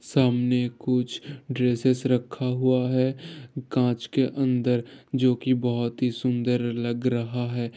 सामने कुछ ड्रेसेस रखा हुआ है कांच के अंदर जो की बहोत ही सुंदर लग रहा है।